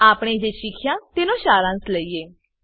આપણે જે શીખ્યા તેનો સારાંશ લઈએ